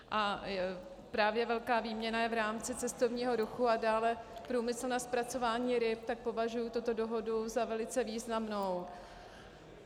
A právě velká výměna je v rámci cestovního ruchu a dále průmyslu na zpracování ryb, tak považuji tuto dohodu za velice významnou.